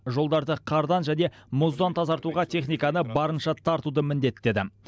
жолдарды қардан және мұздан тазартуға техниканы барынша тартуды міндеттеді